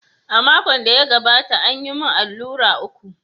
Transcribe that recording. A makon da ya gabata, an yi min allurai uku.